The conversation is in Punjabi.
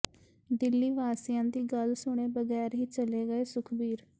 ਦਿੱਲੀ ਵਾਸੀਆਂ ਦੀ ਗੱਲ ਸੁਣੇ ਬਗ਼ੈਰ ਹੀ ਚਲੇ ਗਏ ਸੁਖਬੀਰ